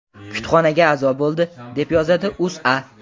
Kutubxonaga a’zo bo‘ldi, deb yozadi O‘zA.